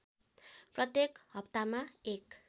प्रत्येक हप्तामा १